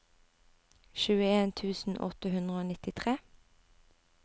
tjueen tusen åtte hundre og nittitre